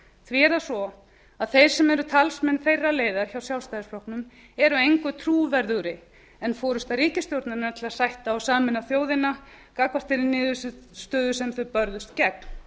því er það svo að þeir sem eru talsmenn þeirrar leiðar hjá sjálfstæðisflokknum eru engu trúverðugri en forusta ríkisstjórnarinnar til að sætta og sameina þjóðina gagnvart þeirri niðurstöðu sem þeir börðust gegn